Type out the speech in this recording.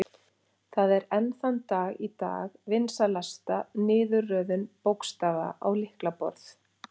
Það er enn þann dag í dag vinsælasta niðurröðun bókstafa á lyklaborð.